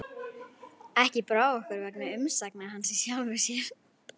Ekki brá okkur vegna umsagna hans í sjálfu sér.